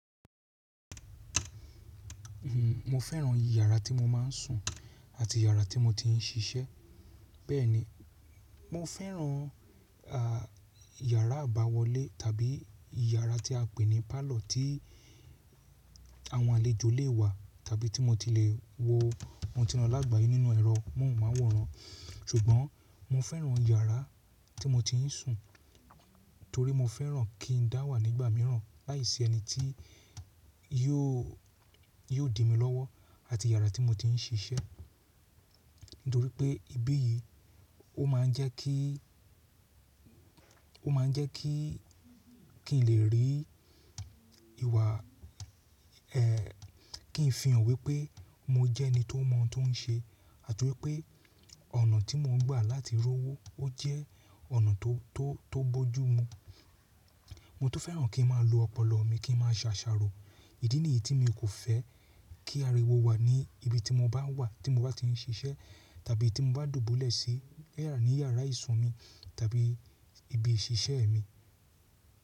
Mo fẹ́ràn ìyàrá tí mo máa ń sùn àti ìyàrá tí mo ti ń ṣiṣẹ́. Bẹ́ẹ̀ni, mo fẹ́ràn ìyàrá àbáwọlé tàbí ìyàrá tí a pè ní parlour tí àwọn àlejò lè wà tàbí tí mo ti le wo ohun tí mo lágbàyé nínú ẹ̀rọ, mo máa wọ̀ran. Ṣùgbọ́n mo fẹ́ràn ìyàrá tí mo ti ń sùn torí mo fẹ́ràn kí n dá wà nígbà mìíràn láìsí ẹni tí yóò, yóò dìmi lọ́wọ́ àti ìyàrá tí mo ti ń ṣiṣẹ́. Nítorí pé ibí yìí ó máa ń jẹ́ kí, ó máa ń jẹ́ kí, kí n lè rí ìwà ẹ, kí n fi hàn wípé mo jẹ́ ẹni tó mọ tó n ṣe àti wípé ọ̀nà tí mo ń gbà láti rọ́wó ó jẹ́ ọ̀nà tó, tó, tó bójú mu. Mo to fẹ́ràn kí n máa lo ọpọlọ mi, kí n máa ṣàṣàrò. Ìdí nìyí tí mi kò fẹ́ kí ariwo wà ní ibi tí mo bá wà, tí mo bá ti ń ṣiṣẹ́ tàbí tí mo bá dùbúlẹ̀ sí ní ìyàrá ìsun mi tàbí ibi ìṣiṣẹ́ mi.